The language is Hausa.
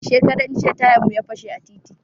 Shekaran jiya tayan mu ya fashe a titi